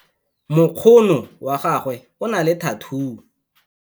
Mokgono wa gagwe o na le thathuu.